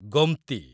Gomti